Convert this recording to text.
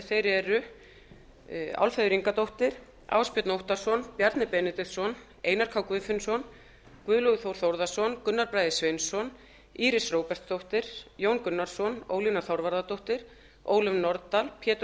þeir eru álfheiður ingadóttir ásbjörn óttarsson bjarni benediktsson einar k guðfinnsson guðlaugur þór þórðarson gunnar bragi sveinsson íris róbertsdóttir jón gunnarsson ólína þorvarðardóttir ólöf nordal pétur